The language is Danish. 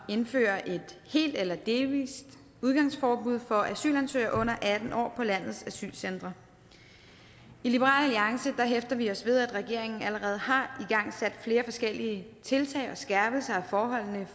at indføre et helt eller delvist udgangsforbud for asylansøgere under atten år på landets asylcentre i liberal alliance hæfter vi os ved at regeringen allerede har igangsat flere forskellige tiltag og skærpelser af forholdene